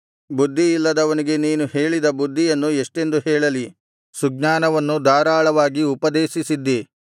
ಬುದ್ಧಿಯಿಲ್ಲದವನಿಗೆ ನೀನು ಹೇಳಿದ ಬುದ್ಧಿಯನ್ನು ಎಷ್ಟೆಂದು ಹೇಳಲಿ ಸುಜ್ಞಾನವನ್ನು ಧಾರಾಳವಾಗಿ ಉಪದೇಶಿಸಿದ್ದಿ